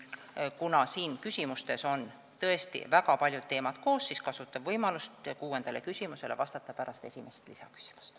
Kuna küsimustes on tõesti väga palju teemasid koos, siis kasutan võimalust vastata kuuendale küsimusele pärast esimest lisaküsimust.